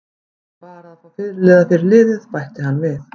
Ég þarf bara að fá fyrirliða fyrir liðið, bætti hann við.